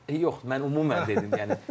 Yox, mən ümumən dedim, yəni.